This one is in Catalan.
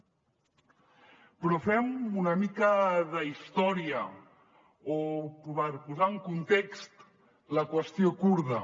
però fem una mica d’història per posar en context la qüestió kurda